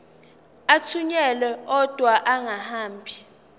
athunyelwa odwa angahambi